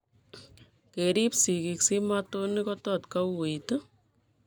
Kerib sigik simatonik kotot kouit